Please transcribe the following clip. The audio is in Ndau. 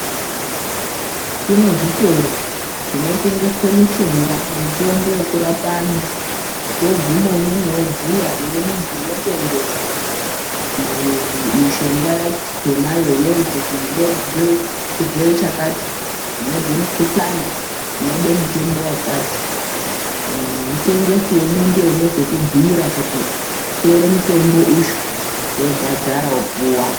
Kune zvitoro zvinotengeswe mishonga mitombo yekurapa vantu woguma umwomwo wobhuya kune muntu unotengesa mishonga yakhona iyoyo kuti ndinozwe chirwere chakati ndinozwe mukhuhlani unode mutombo wakati mutengesi wemwo ndiye unozokubhuyira kuti tora mutombo uyu wobhadhara wopuwa.